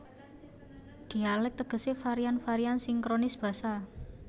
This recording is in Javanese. Dhialèk tegesé varian varian sinkronis basa